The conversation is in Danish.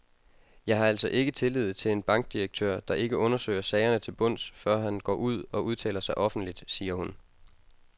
Jeg har altså ikke tillid til en bankdirektør, der ikke undersøger sagerne til bunds, før han går ud og udtaler sig offentligt, siger hun.